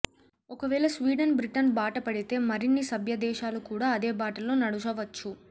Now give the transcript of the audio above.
ఒకవేళ Sweden Britain బాట పడితే మరిన్ని సభ్యదేశాలు కూడా అదే బాటలో నడువవచ్చు